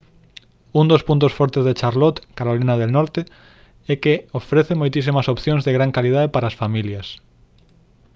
un dos puntos fortes de charlotte carolina do norte é que ofrece moitísimas opcións de gran calidade para as familias